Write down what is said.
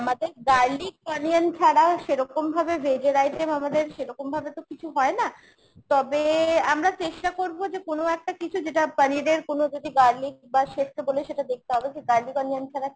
আমাদের garlic onion ছাড়া সেরকমভাবে veg এর item আমাদের সেরকমভাবে তো কিছু হয় না। তবে আমরা চেষ্টা করবো যে কোনো একটা কিছু যেটা পনিরের কোনো যদি garlic বা chef কে বলে সেটা দেখতে হবে garlic onion ছাড়া